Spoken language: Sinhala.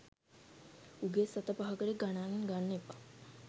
උගේ සත පහකට ගණන් ගන්න එපා